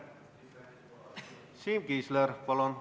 Siim Kiisler, palun!